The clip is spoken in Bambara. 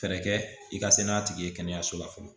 Fɛɛrɛ kɛ i ka se n'a tigi ye kɛnɛyaso la fɔlɔ